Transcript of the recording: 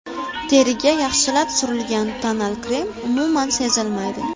Teriga yaxshilab surilgan tonal krem umuman sezilmaydi.